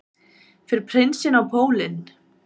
Fer prinsinn á pólinn